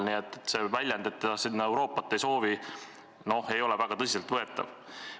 Nii et see väljend, et ta Euroopat sinna ei soovi, ei ole väga tõsiselt võetav.